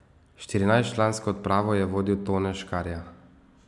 Štirinajstčlansko odpravo je vodil Tone Škarja.